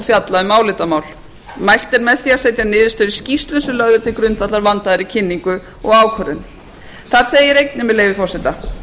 fjalla um álitamál mælt er með því að setja niðurstöður í skýrslu sem lögð er til grundvallar vandaðri kynningu og ákvörðun þar segir einnig með leyfi forseta